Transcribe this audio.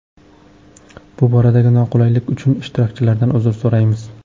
Bu boradagi noqulaylik uchun ishtirokchilardan uzr so‘raymiz.